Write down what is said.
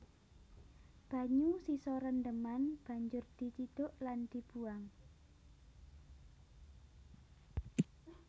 Banyu sisa rendheman banjur dicidhuk lan dibuwang